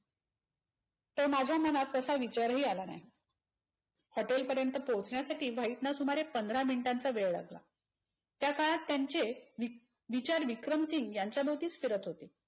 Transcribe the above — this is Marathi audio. तर माझ्या मनात तसा विचारही आला नाही. HOTEL पर्यन्त पोचण्यासाठी व्हाईटना सुमारे पंधरा मिनिटांचा वेळ लागला. त्या काळात त्यांचे विक विचार विक्रमसिंग यांच्या भोवतीच फिरत होते.